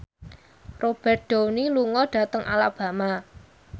Robert Downey lunga dhateng Alabama